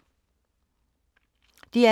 DR K